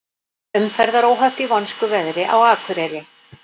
Umferðaróhöpp í vonskuveðri á Akureyri